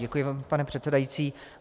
Děkuji vám, pane předsedající.